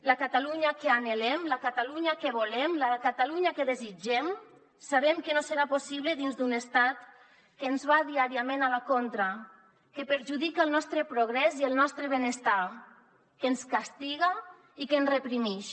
la catalunya que anhelem la catalunya que volem la catalunya que desitgem sabem que no serà possible dins d’un estat que ens va diàriament a la contra que perjudica el nostre progrés i el nostre benestar que ens castiga i que ens reprimix